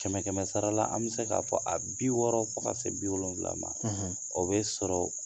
Kɛmɛ kɛmɛ sarala an mi se k'a fɔ a bi wɔɔrɔ fo ka se bi wolonwula ma o be sɔrɔ